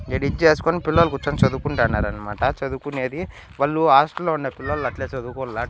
ఈడ ఇది చేసుకుని పిల్లలు కూర్చొని చదువుకుంటున్నారన్నమాట చదువుకునేది వాళ్లు హాస్టల్లో ఉన్న పిల్లలు అట్లే చదువుకోవల్ల--